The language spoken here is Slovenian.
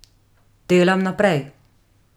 Delam naprej.